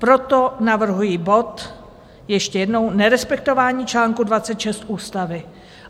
Proto navrhuji bod, ještě jednou, Nerespektování čl. 26 ústavy.